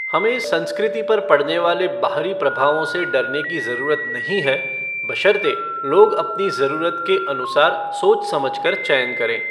हमें संस्कृति पर पड़ने वाले बाहरी प्रभावों से डरने की जरूरत नहीं है बशर्ते लोग अपनी जरूरत के अनुसार सोच समझ कर चयन करें।